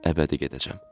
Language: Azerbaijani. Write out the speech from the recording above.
Əbədi gedəcəm.